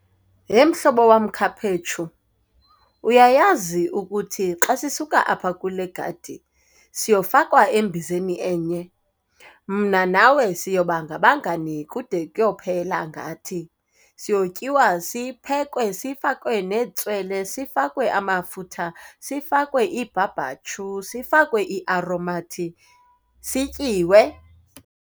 Yhe mhlobo wam, Khaphetshu, uyayazi ukuthi xa sisuka apha kule gadi siyofakwa embizeni enye? Mna nawe siyoba ngabangani kude kuyophela ngathi. Siyotyiwa, siphekwe, sifakwe netswele, sifakwe amafutha, sifakwe ibhabhatyu, sifakwe iaromathi sityiwe.